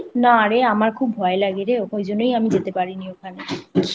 না রে আমার খুব ভয় লাগে রে ঐজন্যই আমি যেতে পারি নি ওখানে